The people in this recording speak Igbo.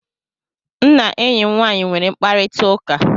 M na enyi nwaanyị nwere mkparịta ụka